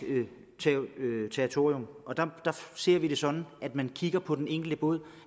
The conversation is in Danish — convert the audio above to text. territorium der ser vi det sådan at man kigger på den enkelte båd